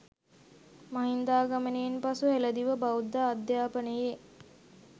මහින්දාගමනයෙන් පසු හෙළදිව බෞද්ධ අධ්‍යාපනයේ